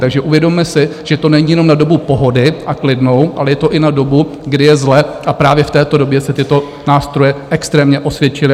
Takže uvědomme si, že to není jenom na dobu pohody a klidu, ale je to i na dobu, kdy je zle, a právě v této době se tyto nástroje extrémně osvědčily.